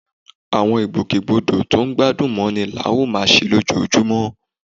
Àwọn ìgbòkègbodò tó gbádùn mọ́ni la ó máa ṣe lójoojúmọ́